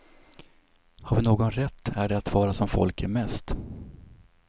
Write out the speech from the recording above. Har vi någon rätt är det att vara som folk är mest.